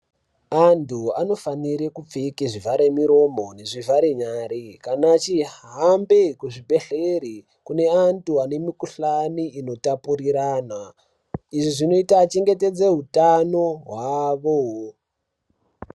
Antu anofanire kupfeke zvivharemuromo nezvivharenyare kana achihambe kuchibhedhlere kune antu ane mikuhlani inotapurirana. Izvi zvinoite achengetedze hutano hwavo.